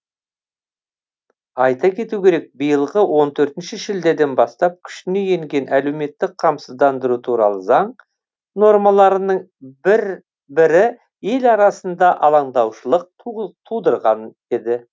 айта кету керек биылғы он төртінші шілдеден бастап күшіне енген әлеуметтік қамсыздандыру туралы заң нормаларының бірі ел арасында алаңдаушылық тудырған еді